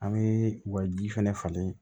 An bɛ u ka ji fɛnɛ falen